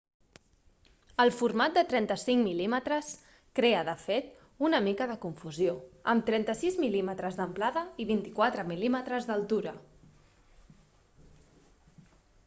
el format de 35 mm crea de fet una mica de confusió amb 36 mm d'amplada i 24 mm d'altura